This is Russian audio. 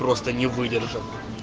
просто не выдержал